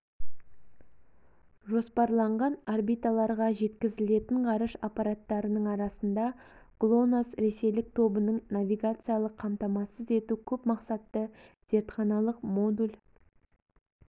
жоспарланған орбиталарға жеткізілетін ғарыш аппараттарының арасында глонасс ресейлік тобының навигациялық қамтамасыз ету көпмақсатты зертханалық модуль